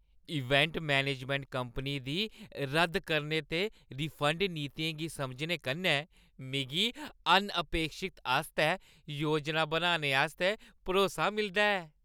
Event management company दी रद्द करने ते रिफंड नीतियें गी समझने कन्नै मिगी अनअपेक्षत आस्तै योजना बनाने आस्तै भरोसा मिलदा ऐ।